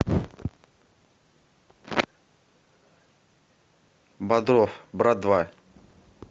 бодров брат два